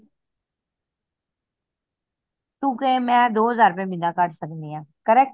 ਤੂੰ ਕਹੇ ਮੈਂ ਦੋ ਹਜ਼ਾਰ ਰੁਪਏ ਮਹੀਨਾ ਕੱਢ ਸਕਦੀ ਆ correct